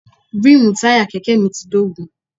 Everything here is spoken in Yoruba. Ríìmù táyà Kẹ̀kẹ́ mi ti dógùn.